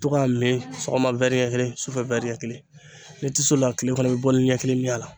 To k'a min sɔgɔma ɲɛ kelen sufɛ ɲɛ kelen n'i ti s'o la tile kɔnɔ i be ni ɲɛ kelen min a la.